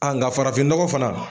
nga farafinnɔgɔ fana